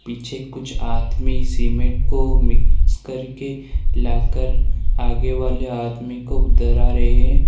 पीछे कुछ आदमी सीमेंट को मिक्स करके लाकर आगे वाले आदमी को धरा रहे है।